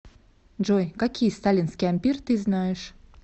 джой какие сталинский ампир ты знаешь